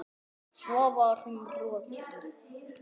Svo var hún rokin.